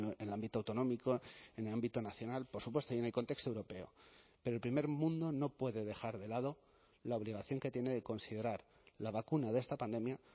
en el ámbito autonómico en el ámbito nacional por supuesto y en el contexto europeo pero el primer mundo no puede dejar de lado la obligación que tiene de considerar la vacuna de esta pandemia